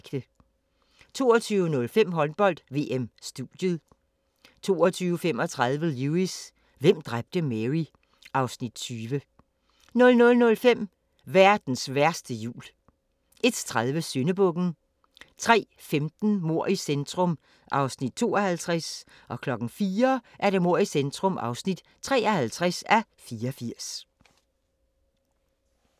22:05: Håndbold: VM - studiet 22:35: Lewis: Hvem dræbte Mary? (Afs. 20) 00:05: Verdens værste jul 01:30: Syndebukken 03:15: Mord i centrum (52:84) 04:00: Mord i centrum (53:84)